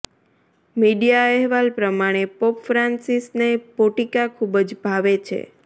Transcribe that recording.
media અહેવાલ પ્રમાણે pope ફ્રાન્સિસને પોટિકા ખુબ જ ભાવે છે